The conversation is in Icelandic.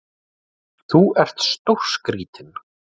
Þú ert stórskrítinn!